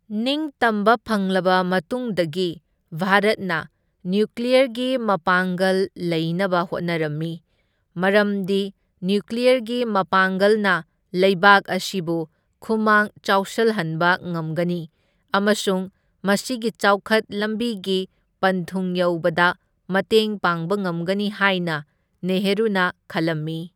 ꯅꯤꯡꯇꯝꯕ ꯐꯪꯂꯕ ꯃꯇꯨꯡꯗꯒꯤ ꯚꯥꯔꯠꯅ ꯅ꯭ꯌꯨꯀ꯭ꯂꯤꯌꯔꯒꯤ ꯃꯄꯥꯡꯒꯜ ꯂꯩꯅꯕ ꯍꯣꯠꯅꯔꯝꯃꯤ, ꯃꯔꯝꯗꯤ ꯅ꯭ꯌꯨꯀ꯭ꯂꯤꯌꯔꯒꯤ ꯃꯄꯥꯡꯒꯜꯅ ꯂꯩꯕꯥꯛ ꯑꯁꯤꯕꯨ ꯈꯨꯃꯥꯡ ꯆꯥꯎꯁꯜꯍꯟꯕ ꯉꯝꯒꯅꯤ ꯑꯃꯁꯨꯡ ꯃꯁꯤꯒꯤ ꯆꯥꯎꯈꯠ ꯂꯝꯕꯤꯒꯤ ꯄꯟꯊꯨꯡ ꯌꯧꯕꯗ ꯃꯇꯦꯡ ꯄꯥꯡꯕ ꯉꯝꯒꯅꯤ ꯍꯥꯏꯅ ꯅꯦꯍꯔꯨꯅ ꯈꯜꯂꯝꯃꯤ꯫